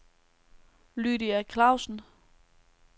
Lydia Clausen